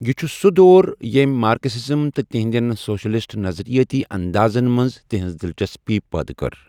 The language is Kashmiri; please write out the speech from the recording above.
یہٕ چھُ سُہ دور ییٚمۍ مارکسزم تہٕ تہنٛدٮ۪ن سوشلسٹ نَظرِیاتی اندازن منٛز تہنٛز دلچسپی پٲدٕ کٔر۔